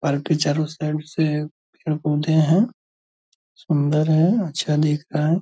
Park के चारो side से पेड़-पौधे हैं। सुन्दर है अच्छा दिख रहा है।